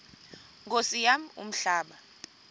nkosi yam umhlaba